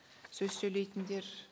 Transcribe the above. сөз сөйлейтіндер